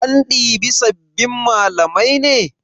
An ɗibi sabbin malamai ne?